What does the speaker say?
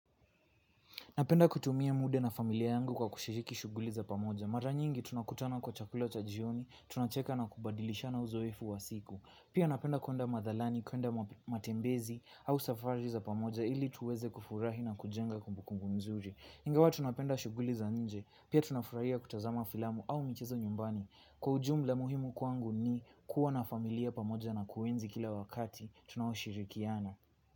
Napenda kutumia muda na familia yangu kwa kushiriki shughuli za pamoja. Mara nyingi tunakutana kwa chakula cha jioni, tunacheka na kubadilishana uzoefu wa siku. Pia napenda kwenda madhalani, kwenda matembezi au safari za pamoja ili tuweze kufurahi na kujenga kumbukumbu nzuri. Ingawa tunapenda shughuli za nje, pia tunafurahia kutazama filamu au michezo nyumbani. Kwa ujumla muhimu kwangu ni kuwa na familia pamoja na kuenzi kila wakati tunaoshirikiana.